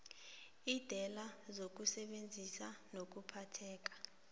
iindlela zokusebenza nokuphatheka